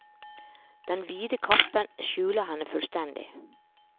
Den vide kappen skjuler henne fullstendig.